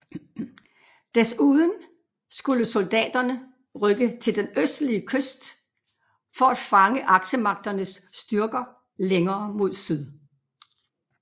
Desuden skulle soldaterne rykke til den østlige kyst for at fange Aksemagternes styrker længere mod syd